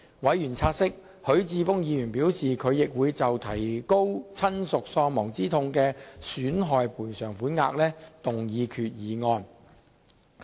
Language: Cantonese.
委員察悉，許智峯議員表示他亦會就提高親屬喪亡之痛賠償款額動議決議案。